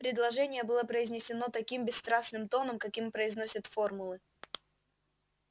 предложение было произнесено таким бесстрастным тоном каким произносят формулы